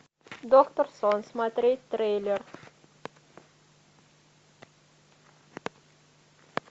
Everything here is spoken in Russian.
доктор сон смотреть трейлер